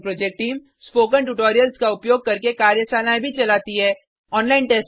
spoken tutorial project team spoken tutorials का उपयोग करके कार्यशालाएँ भी चलाती है